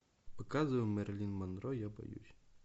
показывай мэрилин монро я боюсь